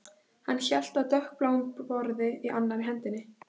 Hann hélt á dökkbláum borða í annarri hendinni